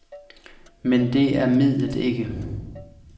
Men det er midlet ikke.